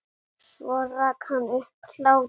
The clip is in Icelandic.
Hún talar aldrei um barnið.